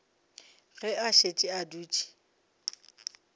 ge a šetše a dutše